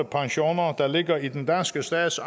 pensioner der ligger i den danske stats